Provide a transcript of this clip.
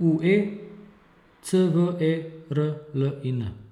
U E, C V E R L I N.